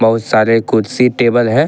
बहुत सारे कुर्सी टेबल है।